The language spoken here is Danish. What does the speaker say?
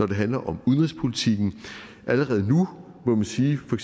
det handler om udenrigspolitikken allerede nu må vi sige for